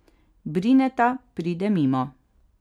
Brineta pride mimo.